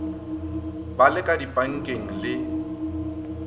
ba le ka dipankeng le